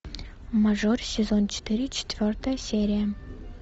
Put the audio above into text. мажор сезон четыре четвертая серия